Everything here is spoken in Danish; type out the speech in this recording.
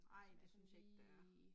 Som er sådan lige